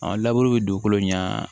bɛ dugukolo ɲɛ